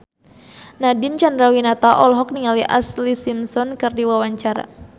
Nadine Chandrawinata olohok ningali Ashlee Simpson keur diwawancara